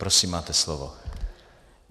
Prosím, máte slovo.